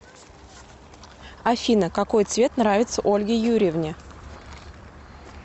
афина какой цвет нравится ольге юрьевне